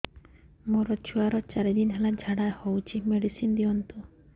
ମୋର ଛୁଆର ଚାରି ଦିନ ହେଲା ଝାଡା ହଉଚି ମେଡିସିନ ଦିଅନ୍ତୁ